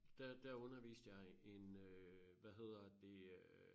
Der der underviste jeg en øh hvad hedder det øh